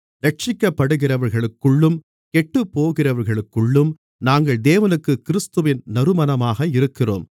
இரட்சிக்கப்படுகிறவர்களுக்குள்ளும் கெட்டுப்போகிறவர்களுக்குள்ளும் நாங்கள் தேவனுக்குக் கிறிஸ்துவின் நறுமணமாக இருக்கிறோம்